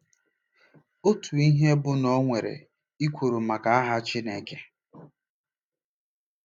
Otu ihe bụ na o nwere ekworo maka aha Chineke.